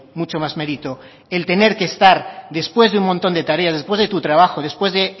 mucho más mérito el tener que estar después de un montón de tareas después de tu trabajo después de